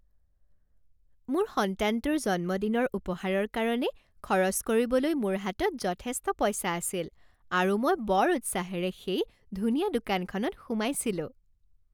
মোৰ সন্তানটোৰ জন্মদিনৰ উপহাৰৰ কাৰণে খৰচ কৰিবলৈ মোৰ হাতত যথেষ্ট পইচা আছিল আৰু মই বৰ উৎসাহেৰে সেই ধুনীয়া দোকানখনত সোমাইছিলোঁ।